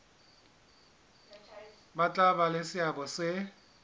tla ba le seabo se